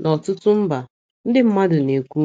N’ọtụtụ mba, ndị mmadụ na - ekwu